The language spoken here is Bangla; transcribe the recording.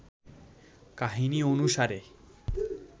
কাহিনী অনুসারে